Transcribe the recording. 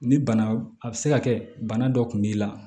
Ni bana a bɛ se ka kɛ bana dɔ kun b'i la